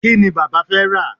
kíni bàbá fé rà